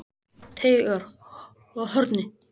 Teigarhorni